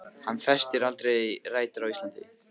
Hann festir aldrei rætur á Íslandi.